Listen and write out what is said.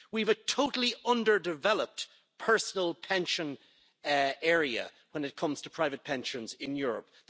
We have a totally underdeveloped personal pension area when it comes to private pensions in Europe.